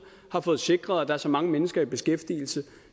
har fået sikret at der er så mange mennesker i beskæftigelse